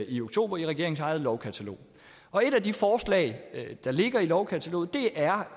i oktober i regeringens eget lovkatalog og et af de forslag der ligger i lovkataloget er